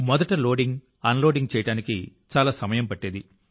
మొదట loading unloading చేయడానికి చాలా సమయం పట్టేది